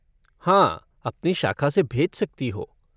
हाँ अपनी शाखा से भेज सकती हो।